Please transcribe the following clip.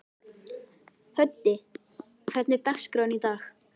Höddi, hvernig er dagskráin í dag?